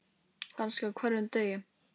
Kannski á hverjum degi.